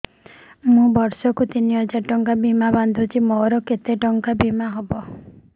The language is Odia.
ମୁ ବର୍ଷ କୁ ତିନି ହଜାର ଟଙ୍କା ବୀମା ବାନ୍ଧୁଛି ମୋର କେତେ ଟଙ୍କାର ବୀମା ହବ